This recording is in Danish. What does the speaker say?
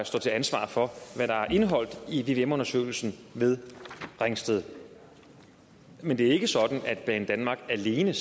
står til ansvar for hvad der er indeholdt i vvm undersøgelsen ved ringsted men det er ikke sådan at banedanmark alene